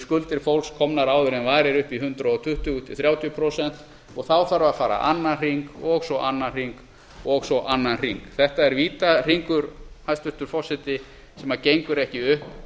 skuldir fólks komnar áður en varir upp í hundrað tuttugu til hundrað þrjátíu prósent og þá þarf að fara annan hring og svo annan hring og svo annan hring þetta er vítahringur hæstvirtur forseti sem gengur ekki upp